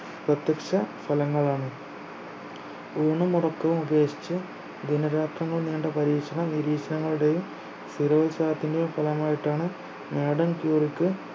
വ്യത്യസ്ത തലങ്ങളാണ് ഊണും ഉറക്കവും ഉപേക്ഷിച്ച് ദിന രാത്രങ്ങൾ നീണ്ട പരീക്ഷണ നിരീക്ഷണങ്ങളുടെയും സ്ഥിരോൽസാഹത്തിന്റെയും ഫലമായിട്ടാണ് മാഡം ക്യൂറിക്ക്